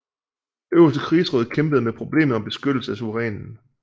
Det øverste krigsråd kæmpede med problemet om beskyttelse af suverænen